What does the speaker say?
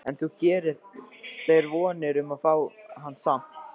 En þú gerir þér vonir um að fá hann samt?